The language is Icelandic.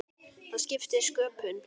Það skiptir sköpum.